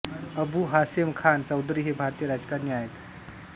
अबू हासेम खान चौधरी हे भारतीय राजकारणी आहेत